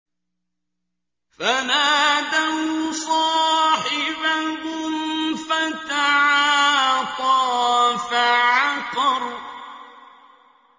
فَنَادَوْا صَاحِبَهُمْ فَتَعَاطَىٰ فَعَقَرَ